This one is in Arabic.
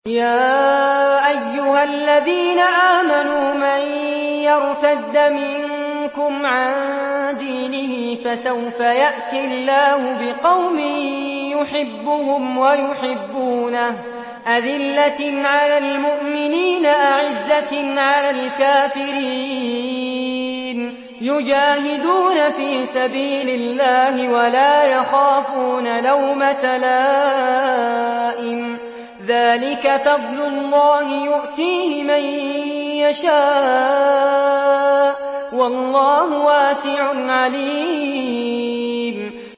يَا أَيُّهَا الَّذِينَ آمَنُوا مَن يَرْتَدَّ مِنكُمْ عَن دِينِهِ فَسَوْفَ يَأْتِي اللَّهُ بِقَوْمٍ يُحِبُّهُمْ وَيُحِبُّونَهُ أَذِلَّةٍ عَلَى الْمُؤْمِنِينَ أَعِزَّةٍ عَلَى الْكَافِرِينَ يُجَاهِدُونَ فِي سَبِيلِ اللَّهِ وَلَا يَخَافُونَ لَوْمَةَ لَائِمٍ ۚ ذَٰلِكَ فَضْلُ اللَّهِ يُؤْتِيهِ مَن يَشَاءُ ۚ وَاللَّهُ وَاسِعٌ عَلِيمٌ